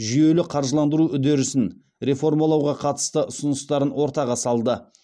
жүйелі қаржыландыру үдерісін реформалауға қатысты ұсыныстарын ортаға салды